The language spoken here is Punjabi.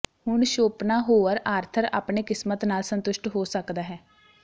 ਹੁਣ ਸ਼ੋਪਨਾਹੋਅਰ ਆਰਥਰ ਆਪਣੇ ਕਿਸਮਤ ਨਾਲ ਸੰਤੁਸ਼ਟ ਹੋ ਸਕਦਾ ਹੈ